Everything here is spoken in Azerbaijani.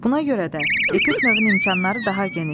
Buna görə də epik növün imkanları daha genişdir.